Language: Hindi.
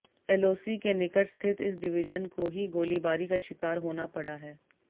एलओसी के निकट स्थित इस डिविजन को ही गोलीबारी का शिकार होना पड़ा है